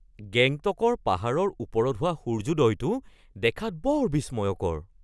গেংটকৰ পাহাৰৰ ওপৰত হোৱা সূৰ্যোদয়টো দেখাত বৰ বিস্ময়কৰ।